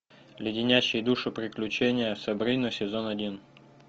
леденящие душу приключения сабрины сезон один